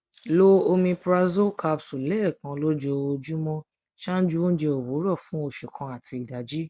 lo omeprazole capsule lẹẹkan lojoojumọ ṣaaju ounjẹ owurọ fun oṣu kan ati idaji